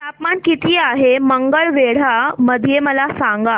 तापमान किती आहे मंगळवेढा मध्ये मला सांगा